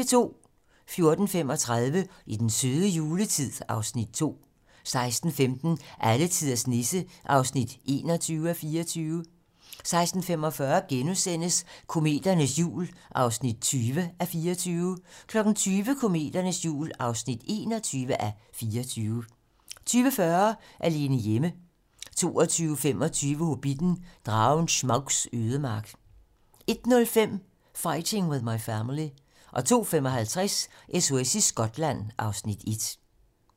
14:35: I den søde juletid (Afs. 2) 16:15: Alletiders Nisse (21:24) 16:45: Kometernes jul (20:24)* 20:00: Kometernes jul (21:24) 20:40: Alene hjemme 22:25: Hobbitten: Dragen Smaugs ødemark 01:05: Fighting with My Family 02:55: SOS i Skotland (Afs. 1)